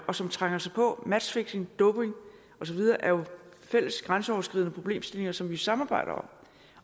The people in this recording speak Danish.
og som trænger sig på matchfixing doping og så videre er jo fælles grænseoverskridende problemstillinger som vi samarbejder om